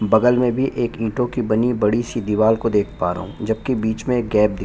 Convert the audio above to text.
बगल में भी एक ईटो की बनी बड़ी सी दीवार को देख पा रहा हूँ जब की बीच में एक गैप दिख --